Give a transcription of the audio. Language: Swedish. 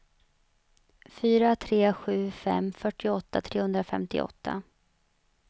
fyra tre sju fem fyrtioåtta trehundrafemtioåtta